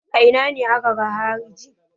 A ina ne aka ga hariji?